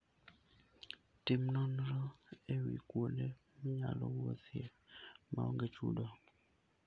Tim nonro e wi kuonde minyalo wuothie ma onge chudo.